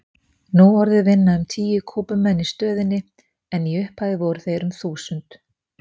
Nú orðið vinna um tíu Kúbumenn í stöðinni en í upphafi voru þeir um þúsund.